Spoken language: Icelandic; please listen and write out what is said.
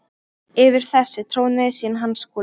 Yfir þessu trónaði síðan hann Skúli.